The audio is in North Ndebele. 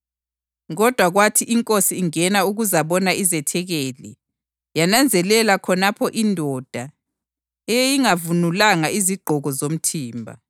Kodwa kwathi inkosi ingena ukuzabona izethekeli, yananzelela khonapho indoda eyeyingavunulanga izigqoko zomthimba.